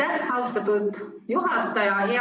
Aitäh, austatud juhataja!